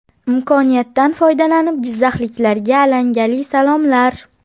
Imkoniyatdan foydalanib jizzaxliklarga alangali salomlar.